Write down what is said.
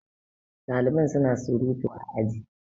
daliban suna surutu a aji